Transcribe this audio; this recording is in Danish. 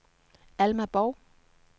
Alma Borg